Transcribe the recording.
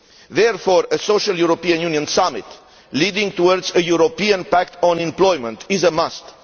Therefore, a social European Union summit, leading towards a European pact on employment, is a must.